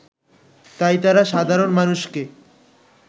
তাই তারা সাধারণ মানুষকে